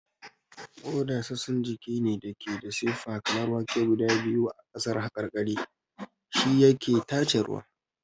Ƙoda sassan jiki ne da ke da siffa kamar wake guda biyu a ƙasar haƙarƙari, shi yake tace ruwa.